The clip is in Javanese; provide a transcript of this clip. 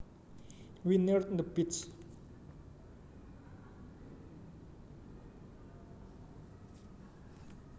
We neared the beach